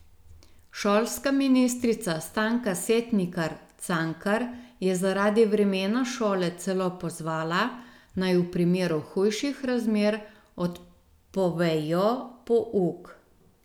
Šolska ministrica Stanka Setnikar Cankar je zaradi vremena šole celo pozvala, naj v primeru hujših razmer odpovejo pouk.